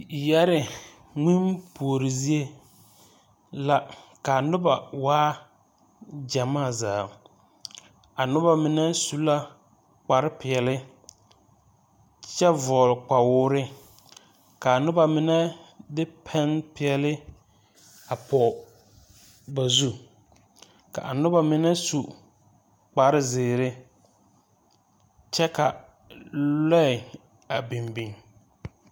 Yɛree ŋmene puori zie la ka a noba waa gyamaa zaa a noba mine su la kparre peɛle kyɛ vɔgle kpawoore ka a noba mine de pɛmpeɛle a pɔge ba zu ka a noba mine su kparre zeere kyɛ ka loɛ a biŋ biŋ.